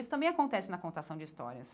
Isso também acontece na contação de histórias.